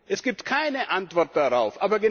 Es gibt keine Antwort darauf.